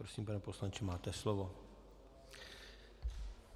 Prosím, pane poslanče, máte slovo.